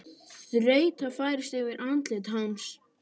Þreyta færist yfir andlit hans.